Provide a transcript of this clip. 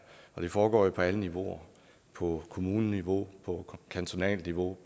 og det foregår jo på alle niveauer på kommuneniveau på kantonalt niveau